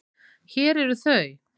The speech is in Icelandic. Hér eru þau.